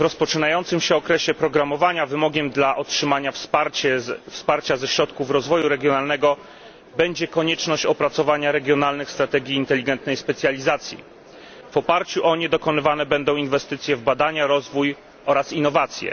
W rozpoczynającym się okresie programowania wymogiem dla otrzymania wsparcia ze środków rozwoju regionalnego, będzie konieczność opracowania regionalnych strategii inteligentnej specjalizacji. W oparciu o nie dokonywane będą inwestycje w badania, rozwój oraz innowacje.